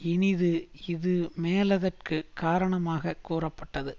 இனிது இதுமேலதற்குக் காரணமாக கூறப்பட்டது